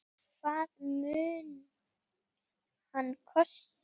Hvað mun hann kosta?